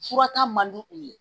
Fura ta man di u ye